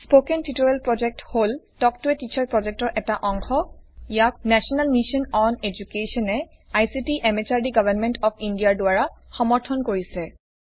spoken tutorial project হল talk to a teacher প্ৰজেক্টৰ অংশ ইয়াক নেশ্যনেল মিছন অন এডুকেশ্যন এ ICT MHRD government of India দ্বাৰা সমৰ্থন কৰিছে